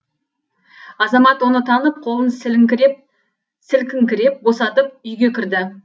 азамат оны танып қолын сілкінкіреп босатып үйге кірді